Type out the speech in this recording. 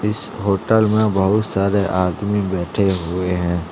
इस होटल मे बहुत सारे आदमी बैठें हुएं हैं।